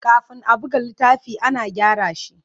Kafin a buga littafi, ana gyara shi.